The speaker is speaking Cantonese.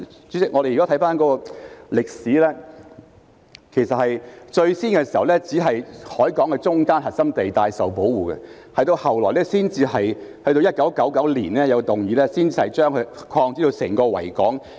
主席，我們回顧歷史，其實最初只是海港中間的核心地帶受保護，後來在1999年提出修訂後才擴展至包括整個維港。